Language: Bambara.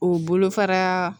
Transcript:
O bolofara